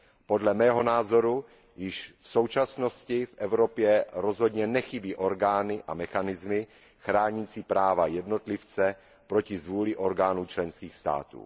Podle mého názoru již v současnosti v Evropě rozhodně nechybí orgány a mechanismy chránící práva jednotlivce proti zvůli orgánů členských států.